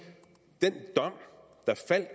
at